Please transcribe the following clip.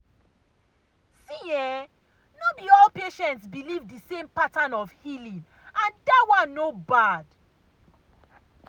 see[um]no be all patients believe the same pattern of healing and that one no bad.